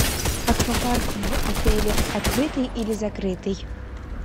аквапарк в отеле открытый или закрытый